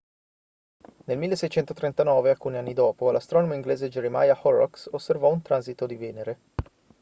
nel 1639 alcuni anni dopo l'astronomo inglese jeremiah horrocks osservò un transito di venere